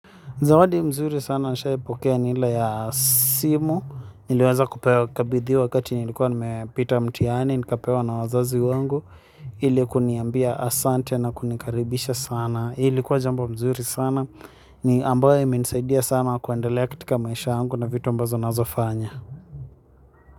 Zawadi mzuri sana nisha ipokea ni ile ya simu, niliweza kupewa kabidhiwa wakati nilikuwa nimepita mtihani, nikapewa na wazazi wangu, ili kuniambia asante na kunikaribisha sana, ilikuwa jambo mzuri sana, ni ambayo imenisaidia sana kuandalea katika maisha na vitu ambazo nazofanya.